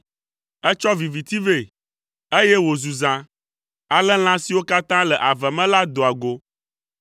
Ètsɔ viviti vɛ, eye wòzu zã, ale lã siwo katã le ave me la doa go.